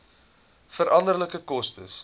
veranderlike koste